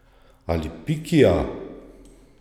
Ali Pikija?